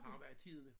Han har været i Tidende